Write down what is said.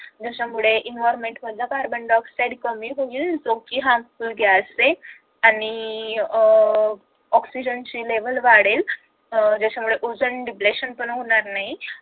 ज्याच्यामुळे environment मधला carbon dioxide कमी होईल जो की harmful gas आहे आणि अह ऑक्सीजन ची level वाढेल अह ज्याच्यामुळे ओझोन bleshant पण होणार नाही